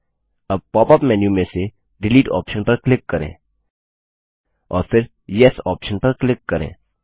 अब pop up menu में से डिलीट ऑप्शन पर क्लिक करें और फिर येस ऑप्शन पर क्लिक करें